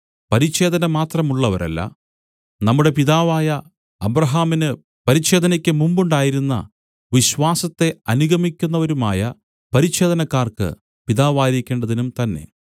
പരിച്ഛേദന മാത്രമുള്ളവരല്ല നമ്മുടെ പിതാവായ അബ്രാഹാമിന് പരിച്ഛേദനക്കുമുമ്പുണ്ടായിരുന്ന വിശ്വാസത്തെ അനുഗമിക്കുന്നവരുമായ പരിച്ഛേദനക്കാർക്ക് പിതാവായിരിക്കേണ്ടതിനും തന്നെ